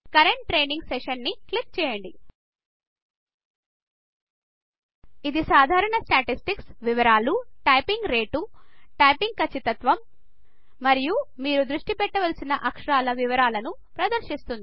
current training session ని click చేయండి ఇది సాధారణ స్టాటిస్టిక్స్ వివరాలు టైపింగ్ రేటు టైపింగ్ కచ్చితత్వం మరియు మీరు దృష్టి పెట్టవలసిన అక్షరాల వివరాలు ప్రదర్శిస్తుంది